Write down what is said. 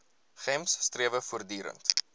gems strewe voortdurend